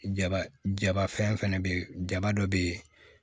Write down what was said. Jaba jaba fɛn fɛnɛ be ye jama dɔ be ye